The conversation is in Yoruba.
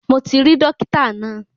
Mo ti rí dọ́kítà náà.